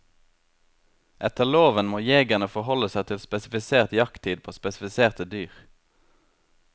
Etter loven må jegerne forholde seg til spesifisert jakttid på spesifiserte dyr.